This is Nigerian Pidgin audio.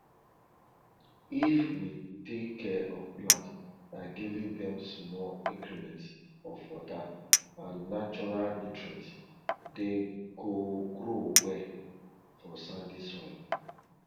if we take care of plants by giving them small increments of water and natural nutrients they go grow well for sandy soil